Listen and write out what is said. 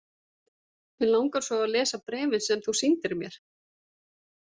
Mig langar svo að lesa bréfin sem þú sýndir mér.